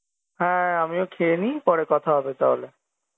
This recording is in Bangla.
হ্যাঁ আমিও খেয়ে নি পরে কথা হবে তাহলে